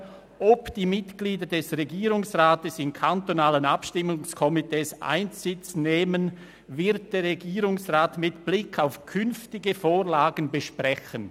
«Ob die Mitglieder des Regierungsrates [weiterhin in passiver Form] in kantonalen Abstimmungskomitees Einsitz nehmen, wird der Regierungsrat mit Blick auf künftige Vorlagen besprechen.